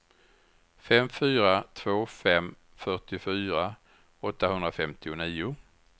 fem fyra två fem fyrtiofyra åttahundrafemtionio